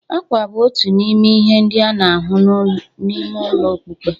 Àkwà bụ otu n'ime ihe ndị a na-ahụ n'ime ụlọ mkpuke.